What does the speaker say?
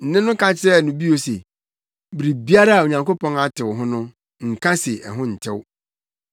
Nne no ka kyerɛɛ no bio se, “Biribiara a Onyankopɔn atew ho no, nka se ɛho ntew.”